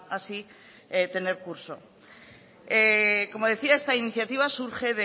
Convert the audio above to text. así tener curso como decía esta iniciativa surge